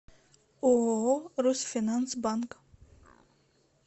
ооо русфинанс банк